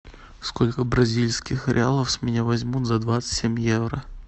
сколько бразильских реалов с меня возьмут за двадцать семь евро